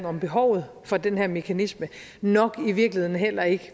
om behovet for den her mekanisme og nok i virkeligheden heller ikke